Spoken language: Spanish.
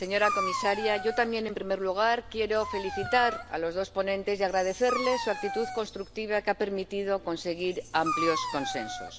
Señora presidenta, señora comisaria, yo también, en primer lugar, quiero felicitar a los dos ponentes y agradecerles su actitud constructiva que ha permitido conseguir amplios consensos.